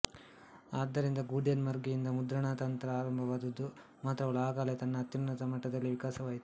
ಆದ್ದರಿಂದ ಗೂಟೆನ್ಬರ್ಗ್ನಿಂದ ಮುದ್ರಣತಂತ್ರ ಪ್ರಾರಂಭವಾದದ್ದು ಮಾತ್ರವಲ್ಲ ಆ ಕಲೆ ತನ್ನ ಅತ್ಯುನ್ನತ ಮಟ್ಟದಲ್ಲಿಯೇ ವಿಕಾಸವಾಯಿತು